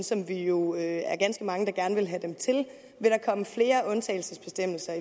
som vi jo er er ganske mange der gerne vil have dem til vil der komme flere undtagelsesbestemmelser